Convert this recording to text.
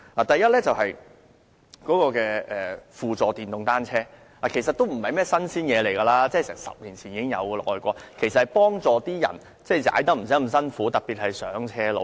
第一，輔助電動單車不是新事物，外國早在10年前已有，讓踏單車的人不用太費力，特別是上斜路。